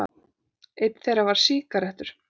Einn þeirra var sígarettur.